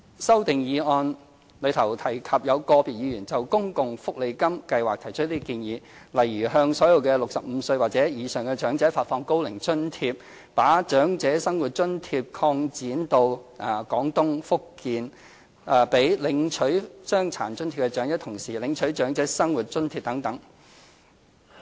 修正案中提及有個別議員就公共福利金計劃提出建議，例如向所有65歲或以上的長者發放高齡津貼、把長者生活津貼擴展至廣東省和福建省、讓領取傷殘津貼的長者同時領取長者生活津貼等。